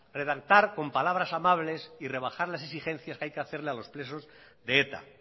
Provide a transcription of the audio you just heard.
redactar con palabras amables y rebajar las exigencias que hay que hacerle a los presos de eta